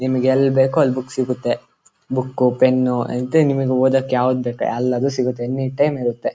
ನಿಮಿಗ್ ಎಲ್ ಬೇಕೋ ಅಲ್ ಬುಕ್ ಸಿಗುತ್ತೆ ಬುಕ್ಕು ಪೆನ್ನು ನಿಮಿಗ್ ಓದಕ್ ಯಾವ್ದ್ ಬೇಕೋ ಎಲ್ಲದು ಸಿಗತ್ತೆ ಎನಿಟೈಮ್ ಇರುತ್ತೆ .